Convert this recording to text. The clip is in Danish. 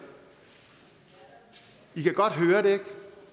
i kan godt høre det ikke